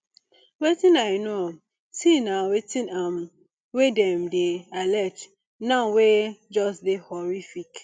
wetin i no um see na wetin um wey dem dey allege now wey just dey horrific